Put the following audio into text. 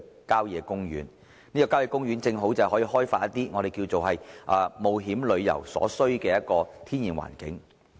郊野公園提供了開發冒險旅遊所需的天然環境。